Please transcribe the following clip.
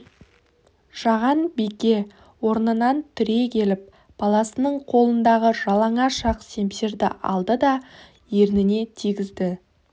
жаған бике орнынан түрегеліп баласының қолындағы жалаңаш ақ семсерді алды да ерніне тигізді